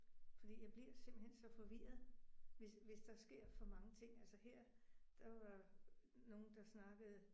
Fordi jeg bliver simpelthen så forvirret hvis hvis der sker for mange ting altså her der var nogen der snakkede